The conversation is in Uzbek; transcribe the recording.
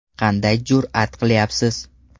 Qanday jur’at qilyapsiz?